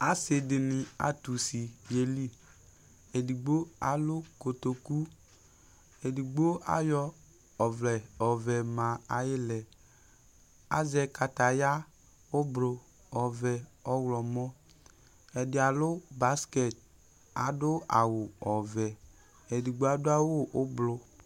Asι dιnι atʋ usi yeli, edigbo alʋ kotoku, edigbo ayɔ ɔvlɛ ɔɔvɛ ma ayι ιlɛAzɛ kataya kʋ ʋblʋ, ɔɔvɛ, ɔɣlɔmɔ, ɛdι alʋ baskɛt, adʋ awʋ ɔɔvɛ, edigbo adʋ awʋ ʋblʋ